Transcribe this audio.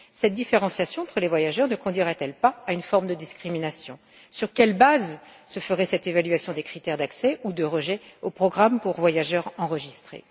Cette différenciation entre les voyageurs ne conduira t elle pas à une forme de discrimination? Sur quelle base se ferait l'évaluation des critères d'accès ou de refus d'accès au programme pour voyageurs enregistrés?